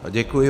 Děkuji.